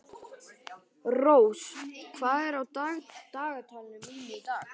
Rós, hvað er á dagatalinu mínu í dag?